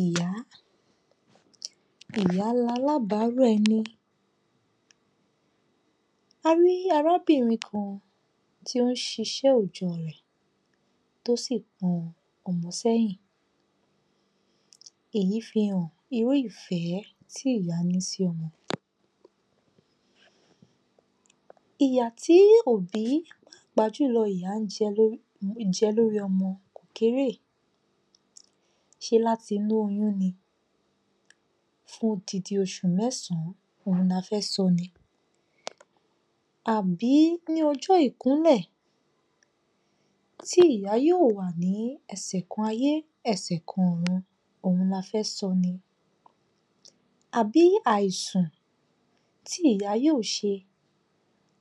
Ìyá Ìyá lalábárò ẹni. A rí arábìnrin kan tí ó ń ṣíṣe òòjọ́ rẹ̀ tó sì pọn ọmọ sẹ́yìn. Èyí fi hàn irú ìfẹ́ tí ìyá ní sí ọmọ. Ìyà tí òbí pàápàá jù lọ ìyá ń jẹ lori jẹ lórí ọmọ kò kéréé ṣé láti inú oyún ni fún odindin oṣù mẹ́sàn-án la fẹ́ sọ ni àbí ní ọjọ́ Ìkúnlẹ̀ tí ìyá yóò wà ní ẹsẹ̀ kan ayé, ẹsẹ̀ kan ọ̀run òhun la fẹ́ sọ ni àbí àìsùn tí ìyá yóò ṣe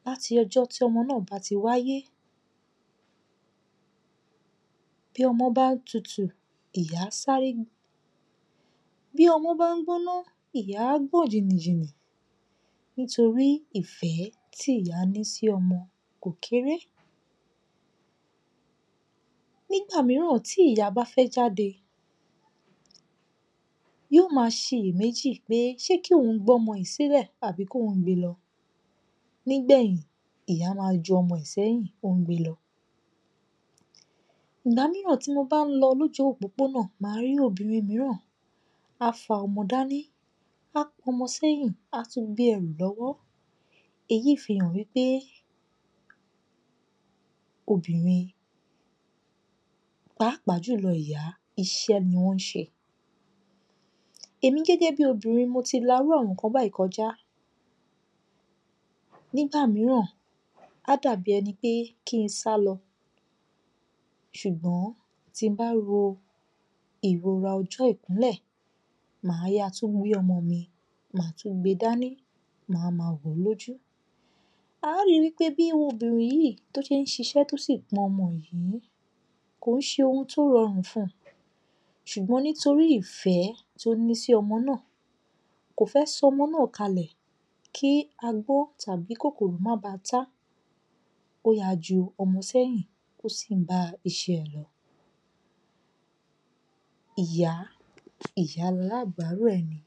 láti ọjọ́ tí ọmọ náà bá ti wáyé bí ọmọ bá tutù ìyá á sáré, bí ọmọ bá ń gbóná ìyá á gbọ̀n jìnnìjìnnì nítorí ìfẹ́ tí ìyá ní sí ọmọ kò kéré. Nígbà mìíràn tí ìyá bá fẹ́ jáde, yóò ma ṣe iyè méjì pé ṣé kí òun gbọ́mọ yìí sílẹ̀ àbí kóhùn gbe lọ. Nígbẹ̀yìn, ìyá máa ju ọmọ ẹ̀ sẹ́yìn ó ń gbe lọ. Ìgbà mìíràn tí mo bá ń lọ lójú òpópónà màá rí obìnrin mìíràn á fa ọmọ dání, a pọnmọ sẹ́yìn, á tún gbé ẹrù lọ́wọ́. Èyí fi hàn wí pé obìnrin pàápàá jù lọ ìyá iṣẹ́ ni wọ́n ṣe. Èmi gẹ́gẹ́bí obìnrin, mo ti la irú àwọn nǹkan báyìí kọjá. Nígbà mìíràn á dà bí ẹni pé kí n sálọ ṣùgbọ́n tí n bá ro ìrora ọjọ́-Ìkúnlẹ̀ màá ya tún gbé ọmọ mi, màá tún gbe dání, màá ma wòó lójú. A rí wí pé bí obìnrin yìí tó ṣé ń ṣiṣẹ́ tó sì pọn ọmọ yìí kò ń ṣe oun tó rọrùn fun ṣùgbọ́n nítorí ìfẹ́ tó ní sí ọmọ náà kò fẹ́ sọ ọmọ náà kalẹ̀ kí a gbọ́ tàbí kòkòrò má ba tá, ó ya ju ọmọ sẹ́yìn ó sì ń bá iṣẹ́ rẹ̀ lọ. Ìyá, ìyá lalábárò ẹni.